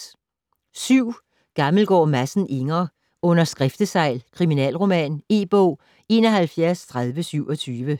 Gammelgaard Madsen, Inger: Under skriftesegl: kriminalroman E-bog 713027